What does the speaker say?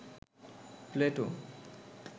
Plato